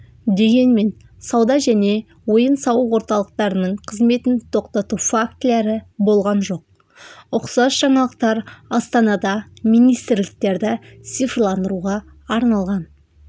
дегенмен сауда және ойын-сауық орталықтарының қызметін тоқтату фактілері болған жоқ ұқсас жаңалықтар астанада министрліктерді цифрландыруға арналған